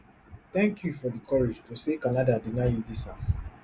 thank you for di courage to say canada deny you visas